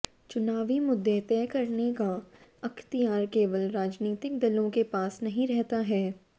चुनावी मुद्दे तय करने का अख्तियार केवल राजनीतिक दलों के पास नहीं रहता है